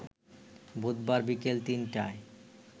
বুধবার বিকেল ৩টায়